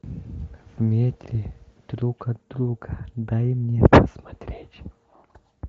в метре друг от друга дай мне посмотреть